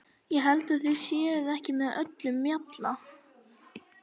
Ég held að þið séuð ekki með öllum mjalla!